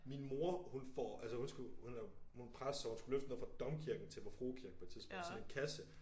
Min mor hun får altså hun skulle hun er hun er præst så hun skulle løfte noget fra Domkirken til Vor Frue Kirke på et tidspunkt sådan en kasse